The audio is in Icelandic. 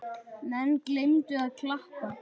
Menn gleymdu að klappa.